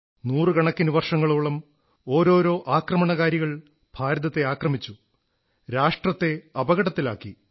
നൂറുകണക്കിന് വർഷങ്ങളോളം ഓരോരോ ആക്രമണകാരികൾ ഭാരതത്തെ ആക്രമിച്ചു രാഷ്ട്രത്തെ അപകടത്തിലാക്കി